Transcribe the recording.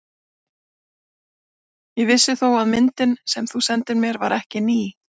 Ég vissi þó að myndin, sem þú sendir mér, var ekki ný.